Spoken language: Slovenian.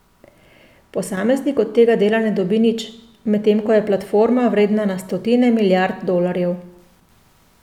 Posameznik od tega dela ne dobi nič, medtem ko je platforma vredna na stotine milijard dolarjev.